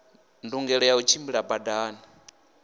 ndungelo ya u tshimbila badani